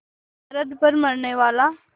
सरहद पर मरनेवाला